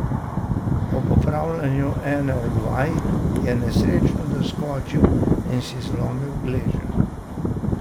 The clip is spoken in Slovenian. Ob opravljanju ene od vaj je nesrečno doskočil in si zlomil gleženj.